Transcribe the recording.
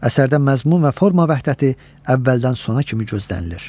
Əsərdə məzmun və forma vəhdəti əvvəldən sona kimi gözlənilir.